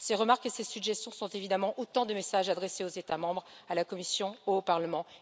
Ces remarques et ces suggestions sont évidemment autant de messages adressés aux États membres, à la Commission, au Parlement.